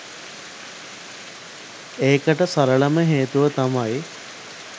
ඒකට සරලම හේතුව තමයි